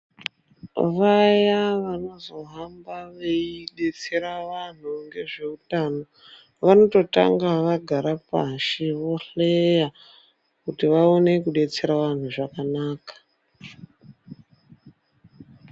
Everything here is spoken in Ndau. Vaya vanozohamba veidetsera vanhu ngezveutano, vanototanga vagara pashi ,vohleya, kuti vaone kudetsera vanhu zvakanaka.